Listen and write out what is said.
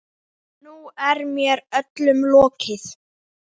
Nú er mér öllum lokið.